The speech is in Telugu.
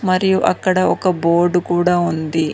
మరియు అక్కడ ఒక బోర్డ్ కూడా ఉంది.